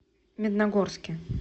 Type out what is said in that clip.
медногорске